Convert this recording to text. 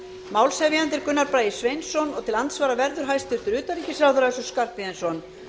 málshefjandi er háttvirtir þingmenn gunnar bragi sveinsson og til andsvara verður hæstvirts utanríkisráðherra össur skarphéðinsson